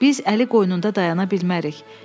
Biz əli qoynunda dayana bilmərik.